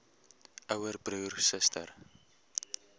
ouer broer suster